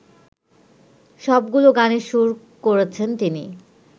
সবগুলো গানের সুর করেছেন তিনি